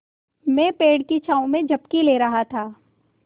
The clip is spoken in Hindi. मैं पेड़ की छाँव में झपकी ले रहा था